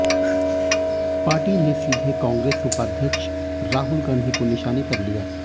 party ने सीधे कांग्रेस उपाध्यक्ष राहुल गांधी को निशाने पर लिया